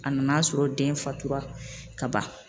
A nan'a sɔrɔ den fatura ka ban